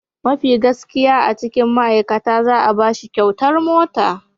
Mafi gaskiya a cikin ma'aikata za'a bashi kyautar mota.